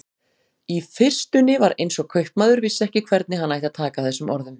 Í fyrstunni var eins og kaupmaður vissi ekki hvernig hann ætti að taka þessum orðum.